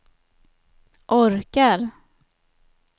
orkar